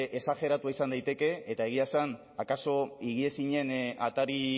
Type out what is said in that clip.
esajeratua izan daiteke eta egia esan akaso higiezinen atari